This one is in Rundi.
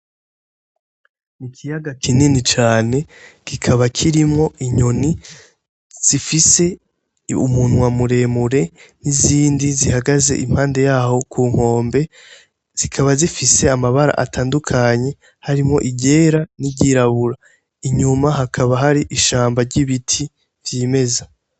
Mikiyaga kinini cane gikaba kirimwo inyoni zifise umuntu wamuremure n'izindi zihagaze impande yaho ku nkombe zikaba zifise amabara atandukanye harimwo igera n'iryirabura inyuma hakaba hari ishambo ry'ibie biti vyimeza.